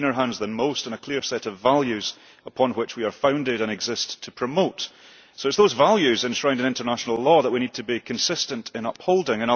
We have cleaner hands than most and a clear set of values upon which we are founded and exist to promote, so it is those values enshrined in international law that we need to be consistent in upholding.